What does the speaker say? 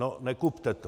No nekupte to.